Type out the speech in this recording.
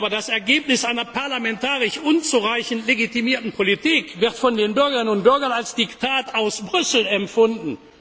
Das Ergebnis einer parlamentarisch unzureichend legitimierten Politik wird von den Bürgerinnen und Bürgern als Diktat aus Brüssel empfunden.